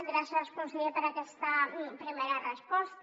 gràcies conseller per aquesta primera resposta